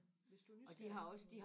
hvis du er nysgerrig på